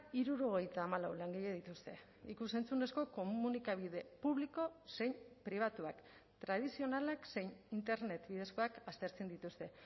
hirurogeita hamalau langile dituzte ikus entzunezko komunikabide publiko zein pribatuak tradizionalak zein internet bidezkoak aztertzen dituzte